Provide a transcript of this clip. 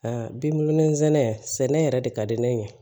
A bi wolo nsɛnɛ sɛnɛ yɛrɛ de ka di ne ye